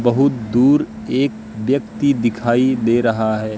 बहोत दूर एक व्यक्ति दिखाई दे रहा हैं।